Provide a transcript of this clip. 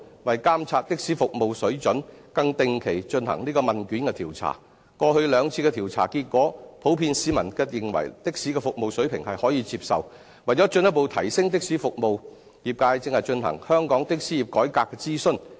為監察的士服務水準，更定期進行問卷調查，過去兩次的調查結果，市民普遍認為的士服務水平可接受；為進一步提升的士服務，業界正進行香港的士業改革諮詢。